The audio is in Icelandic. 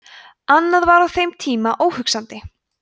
annað var á þeim tíma óhugsandi